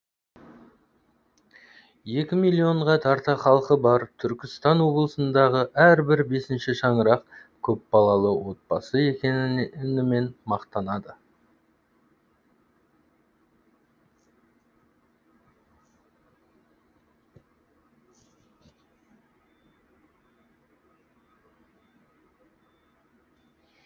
екі миллионға тарта халқы бар түркістан облысындағы әрбір бесінші шаңырақ көпбалалы отбасы екенімен мақтанады